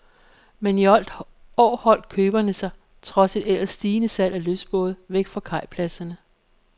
Men i år holdt køberne sig, trods et ellers stigende salg af lystbåde, væk fra kajpladserne.